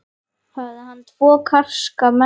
Hafði hann tvo karska menn í för með sér.